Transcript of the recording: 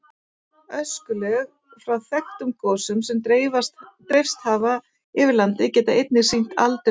Öskulög frá þekktum gosum sem dreifst hafa yfir land geta einnig sýnt aldur jarðlaga.